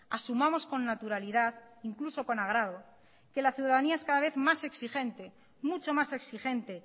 asumamos con naturalidad incluso con agrado que la ciudadanía es cada vez más exigente mucho más exigente